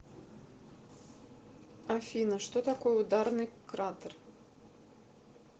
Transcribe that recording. афина что такое ударный кратер